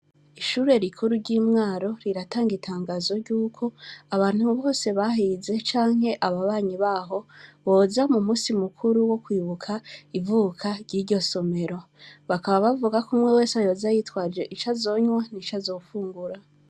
Ishure rikuru ry’i Mwaro riratanga itangazo ry’uko abantu bose bahize canke ababanyi b’aho, boza mu munsi mukuru wo kwibuka ivuka ry’iryo somero. Bakava bavuga ko umwe wese yoza yitwaje ico azonywa n’ico azofungura.